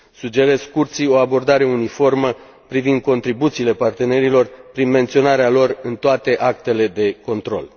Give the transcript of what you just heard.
Sugerez Curții o abordare uniformă privind contribuțiile partenerilor, prin menționarea lor în toate actele de control.